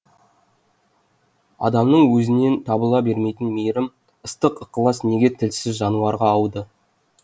адамның өзінен табыла бермейтін мейірім ыстық ықылас неге тілсіз жануарға ауды